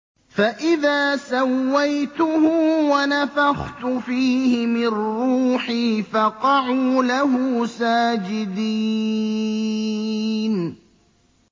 فَإِذَا سَوَّيْتُهُ وَنَفَخْتُ فِيهِ مِن رُّوحِي فَقَعُوا لَهُ سَاجِدِينَ